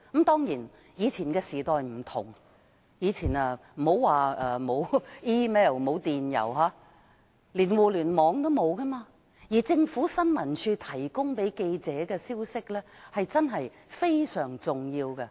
當然，以前的時代與現在不同，那時不僅沒有電郵，連互連網也沒有，而新聞處向記者提供的消息，確實非常重要。